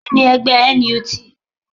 Kíni ẹgbẹ́ NUT?